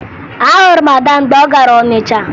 Ahụrụ m Ada mgbe m gara Ọnịcha